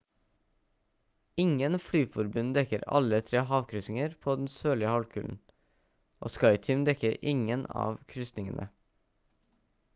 ingen flyforbund dekker alle tre havkryssinger på den sørlige halvkulen og skyteam dekker ingen av krysningene